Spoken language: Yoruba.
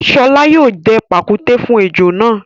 Ṣọlá yóò dẹ pàkúté fún ejò náà.